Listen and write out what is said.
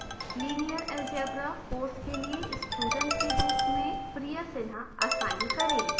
linear algebra course के लिए student के रूप में priya sinha असाइन करें